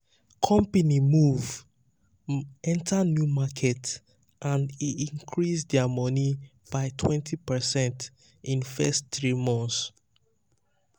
company move um enter new market and e increase their money um by 20 percent in first 3 months. um